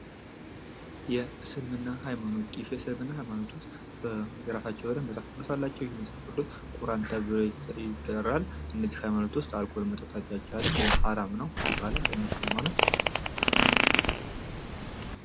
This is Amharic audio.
የእስልምና ሀይማኖት የእስልምና ሀይማኖት ውስጥ የራሳቸው መፅሀፍ ቅዱስ አላቸው ይህም መፅሀፍ ቅዱስ ቁራን ተብሎ ይጠራል። እነዚህ ሀይማኖት ውስጥ አልኮል መጠጣት አይቻልም ሀራም ነው ይባላል እነሱ ሀይማኖት።